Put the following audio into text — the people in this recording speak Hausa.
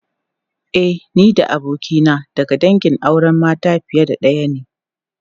E, ni da abokina daga dangin auren mata fiye da daya ne.